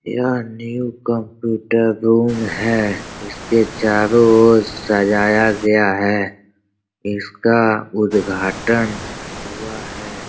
यह new computer room है। इसके चारो और सजाया गया है। इसका उद्घाटन हुआ है।